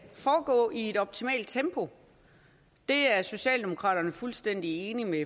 foregå i et optimalt tempo det er socialdemokraterne fuldstændig enige med